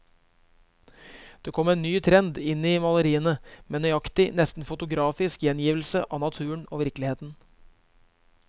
Det kom en ny trend inn i maleriene, med nøyaktig, nesten fotografisk gjengivelse av naturen og virkeligheten.